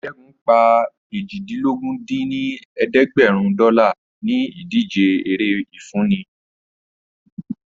Ṣẹ́gun pa eéjìdínlógún dín ní ẹ̀ẹ́dẹ́gbẹ́rún dọ́là ní ìdíje eré ìfúnni